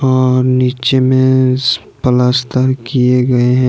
अहह नीचे में पलस्तर किए गए हैं।